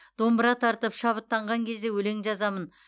домбыра тартып шабыттанған кезде өлең жазамын